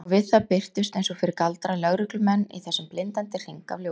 Og við það birtust, eins og fyrir galdra, lögreglumenn í þessum blindandi hring af ljósum.